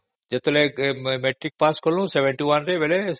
ଯେତେବେଳେ matric pass କଲୁ seventy-one ରେ